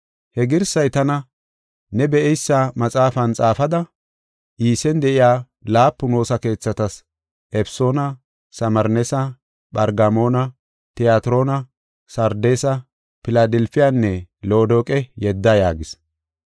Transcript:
He girsay tana, “Ne be7eysa maxaafan xaafada, Iisen de7iya laapun woosa keethatas, Efesoona, Samirneesa, Phargamoona, Tiyatiroona, Sardeesa, Filadelfiyanne Loodoqe yedda” yaagis.